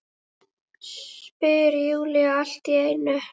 spyr Júlía allt í einu.